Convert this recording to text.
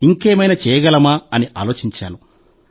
కానీ ఇంకేమైనా చేయగలమా అని ఆలోచించాను